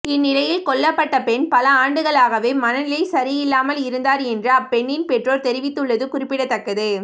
இந்நிலையில் கொல்லப்பட்ட பெண் பல ஆண்டுகளாகவே மனநிலை சரியில்லாமல் இருந்தார் என்று அப்பெண்னின் பெற்றொர் தெரிவித்துள்ளது குறிப்பிடதக்கது